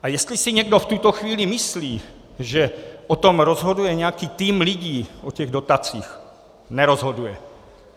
A jestli si někdo v tuto chvíli myslí, že o tom rozhoduje nějaký tým lidí, o těch dotacích - nerozhoduje.